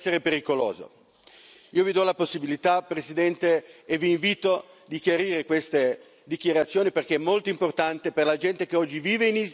Io Le do la possibilità, signor Presidente, e La invito a chiarire queste dichiarazioni, perché è molto importante per la gente che oggi vive in Istria, per gli esuli.